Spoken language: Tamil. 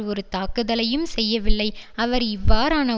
ஒரு தாக்குதலையும் செய்யவில்லை அவர் இவ்வாறான